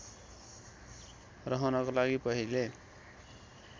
रहनको लागि पहिले